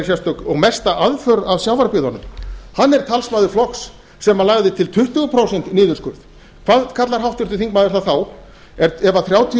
sérstök og mesta aðför að sjávarbyggðunum hann er talsmaður flokks sem lagði til tuttugu prósent niðurskurð hvað kallar háttvirtur þingmaður það þá ef þrjátíu